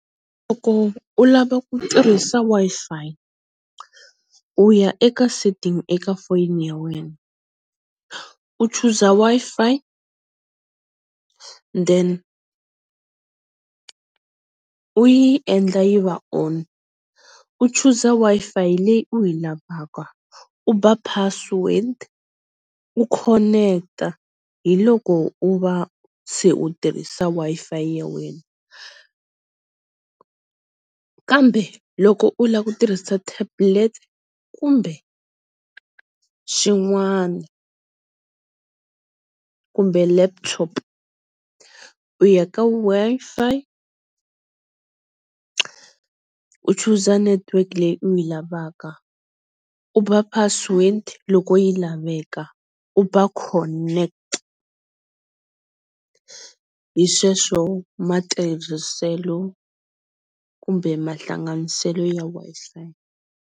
Loko u lava ku tirhisa Wi-Fi u ya eka setting eka foni ya wena u choose-a Wi-Fi then u yi endla yi va on u choose-a Wi-Fi leyi u yi lavaka, u ba password, u connect-a hi loko u va se u tirhisa Wi-Fi ya wena kambe loko u lava ku tirhisa tablet kumbe swin'wana kumbe laptop u ya ka Wi-Fi u choose-a network leyi u yi lavaka u ba password loko yi laveka, u ba connect. Hi sweswo matirhiselo kumbe mahlanganiselo ya Wi-Fi.